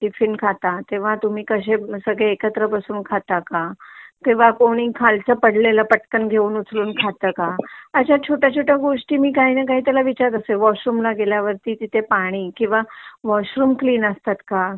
tiffin खाता तेव्हा तुम्ही कसे सगळे एकत्र बसू खाता का तेव्हा कोणी खालचा पडलेला पटकन घेऊन उचलून खाता का अश्या छोट्या छोट्या गोष्टी मी त्याला विचारात असते वॉशरूम ला गेल्यावर तिथे पाणी किंवा वॉशरूम क्लीन असतात का